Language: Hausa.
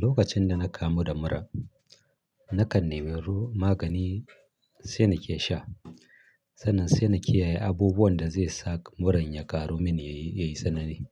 Lokacin da na kamu da mura, na kan nemi magani sai na ke sha. Sannan sai na kiyaye abubuwan da zai sa muran ya ƙaru min yayi, yayi tsanani.